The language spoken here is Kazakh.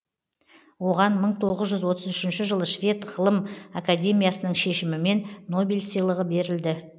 оған мың тоғыз жүз отыз үшінші жылы швед ғылым академиясының шешімімен нобель сыйлығы берілді